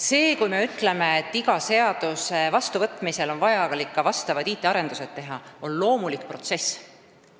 See, kui me ütleme, et iga seaduse vastuvõtmisel on vaja teha ka vastavaid IT-arendusi, on loomulik protsess.